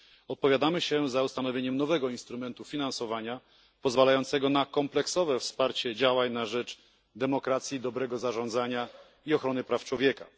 Opowiadamy się za ustanowieniem nowego instrumentu finansowania, pozwalającego na kompleksowe wsparcie działań na rzecz demokracji, dobrego zarządzania i ochrony praw człowieka.